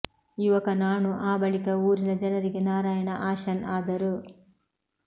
ಯುವಕ ನಾಣು ಆ ಬಳಿಕ ಊರಿನ ಜನರಿಗೆ ನಾರಾಯಣ ಆಶನ್ ಆದರು